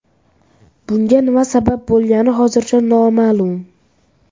Bunga nima sabab bo‘lgani hozircha noma’lum.